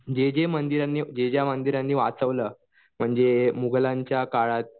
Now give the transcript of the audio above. जे जे मंदिरांनी वाचवलं ज्या ज्या मंदिरांना वाचवलं म्हणजे मुघलांच्या काळात